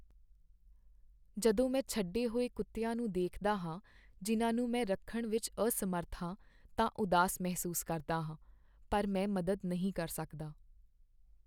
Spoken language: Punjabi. ਜਦੋਂ ਮੈਂ ਛੱਡੇ ਹੋਏ ਕੁੱਤਿਆਂ ਨੂੰ ਦੇਖਦਾ ਹਾਂ ਜਿਨ੍ਹਾਂ ਨੂੰ ਮੈਂ ਰੱਖਣ ਵਿੱਚ ਅਸਮਰੱਥ ਹਾਂ ਤਾਂ ਉਦਾਸ ਮਹਿਸੂਸ ਕਰਦਾ ਹਾਂ ,ਪਰ ਮੈਂ ਮਦਦ ਨਹੀਂ ਕਰ ਸਕਦਾ।